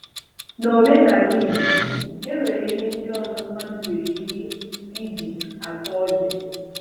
N'omenala Igbo, enwere ihe ndị ọzọ mmadụ nwere ike iji ata ọjị